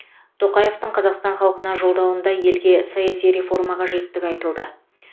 тоқаевтың қазақстан халқына жолдауында елге саяси реформа қажеттігі айтылды